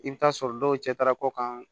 I bɛ taa sɔrɔ dɔw cɛ taara kɔkan